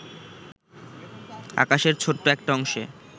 আকাশের ছোট্ট একটা অংশে